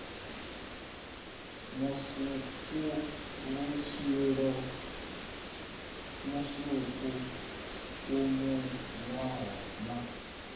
musukuvhutshilo musuku u munwaho na